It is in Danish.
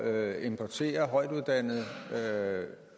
at importere højtuddannet